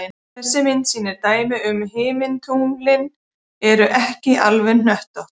Þessi mynd sýnir dæmi um að himintunglin eru ekki alveg öll hnöttótt.